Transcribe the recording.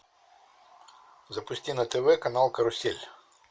запусти на тв канал карусель